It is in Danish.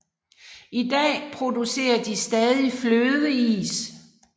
I dag producerer de stadig flødeis